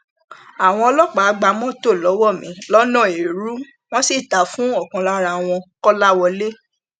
àwọn ọlọpàá gba mọtò lọwọ mi lọnà ẹrú wọn sì tà á fún ọkan lára wọn kọlàwọlẹ